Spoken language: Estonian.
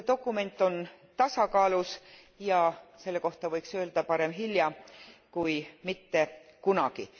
See dokument on tasakaalus ja selle kohta võiks öelda parem hilja kui mitte kunagi.